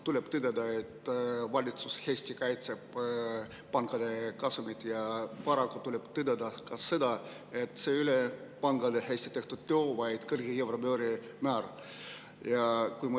Tuleb tõdeda, et valitsus kaitseb hästi pankade kasumit, ja paraku tuleb tõdeda ka seda, et see ei ole pankade hästi tehtud töö, vaid euribori kõrge määra tõttu.